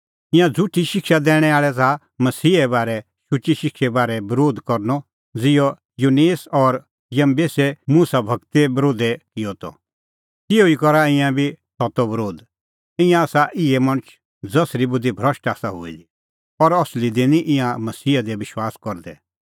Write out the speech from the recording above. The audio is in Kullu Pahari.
ईंयां झ़ुठी शिक्षा दैणैं आल़ै च़ाहा मसीहे बारै शुची शिक्षो बरोध करनअ ज़िहअ यन्नेस और यम्बेसै मुसा गूरो बरोध किअ त तिहअ ई करा ईंयां बी सत्तो बरोध ईंयां आसा इहै मणछ ज़सरी बुधि भ्रष्ट आसा हुई दी और असली दी निं ईंयां मसीहा दी विश्वास करदै